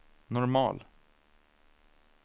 normal